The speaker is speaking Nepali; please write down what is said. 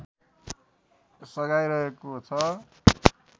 सघाइरहेको छ